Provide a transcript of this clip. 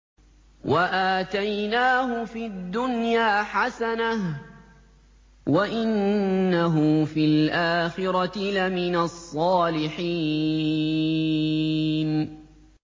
وَآتَيْنَاهُ فِي الدُّنْيَا حَسَنَةً ۖ وَإِنَّهُ فِي الْآخِرَةِ لَمِنَ الصَّالِحِينَ